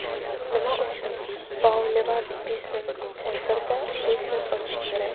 Nima uchun Boulevard Business Center’da biznes ochish kerak?.